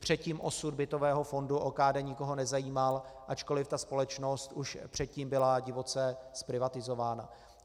Předtím osud bytového fondu OKD nikoho nezajímal, ačkoliv ta společnost už předtím byla divoce zprivatizována.